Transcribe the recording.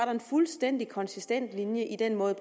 en fuldstændig konsistent linje i den måde